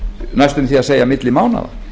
næstum því að segja milli mánaða